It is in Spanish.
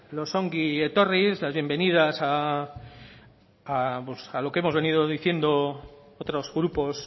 los ongi etorris las bienvenidas a lo que hemos venido diciendo otros grupos